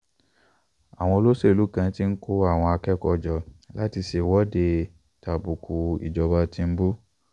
àwọn olóṣèlú kan ti ń kó àwọn akẹ́kọ̀ọ́ jọ láti ṣèwọ́de tàbùkù ìjọba tìǹbù